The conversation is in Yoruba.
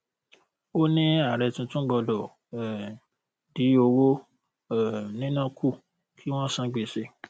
ó ní ààrẹ tuntun gbọdọ um dín owó um níná kù kí wón san gbèsè